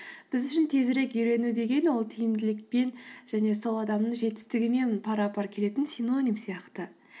біз үшін тезірек үйрену деген ол тиімділікпен және сол адамның жетістігімен пара пар келетін синоним сияқты